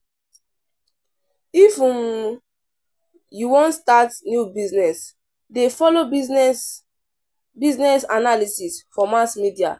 If um you wan start new business, dey folo business business analysis for mass media.